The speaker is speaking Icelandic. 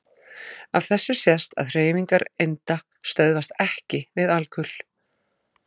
Af þessu sést að hreyfingar einda stöðvast EKKI við alkul.